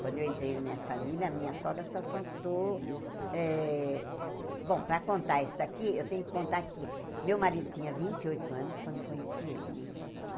Quando eu entrei na minha família, a minha sogra só faltou eh... Bom, para contar isso aqui, eu tenho que contar que meu marido tinha vinte e oito anos quando eu conheci ele, né?